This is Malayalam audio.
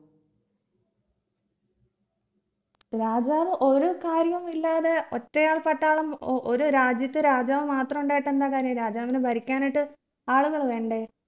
രാജാവ് ഒരു കാര്യും ഇല്ലാതെ ഒറ്റയാൾ പട്ടാളം ഒരു രാജ്യത്ത് രാജാവ് മാത്രമുണ്ടായിട്ട് എന്താ കാര്യം രാജാവിന് ഭരിക്കാനായിട്ട് ആളുകൾ വേണ്ടേ